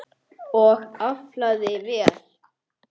Og aflaði vel.